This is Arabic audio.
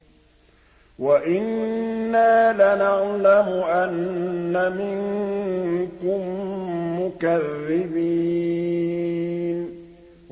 وَإِنَّا لَنَعْلَمُ أَنَّ مِنكُم مُّكَذِّبِينَ